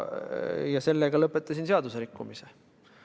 Ja sellega lõpetasin seaduserikkumise.